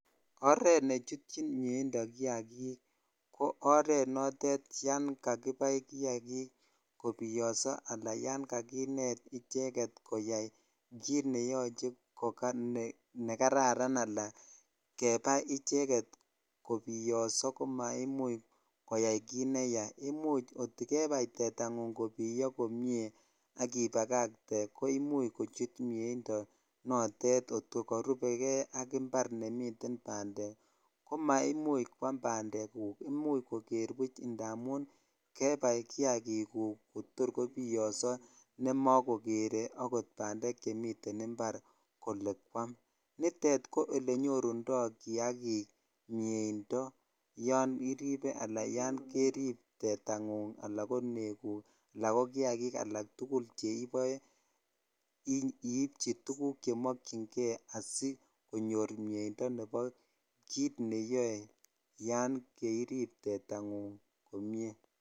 Oreet nechutyin mieindo kiakik ko oreet notet yoon kakibai kiakik kobiyoso aalaa yoon kakinet icheket koyai kiit neyoche kokanekararan anan kebai icheket kobiyoso ko maimuch koyai kiit neyaa, imuch kot ko kebai tetang'ung kobiyo komnye ak ibakakte koimuch kochut mieindo notet kot ko korubeke ak imbar nemiten bandek ko maimuch kwam bandekuk, imuch koker buch indamun kebai kiakikuk kotor kobiyoso nemakokere akot bandek chemiten imbar kolee kwaam, nitet ko elenyorundo kiakik mieindo yoon iribe anan yoon kerib tetang'ung anan ko nekuk alaa ko kiakikalak tukul cheiboe iibchi tukuk chemokyinge asikonyor mieindo nebo kiit neyoe yoon kiirib tetang'ung komnye.